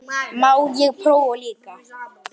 Má ég prófa líka!